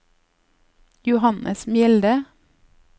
Johannes Mjelde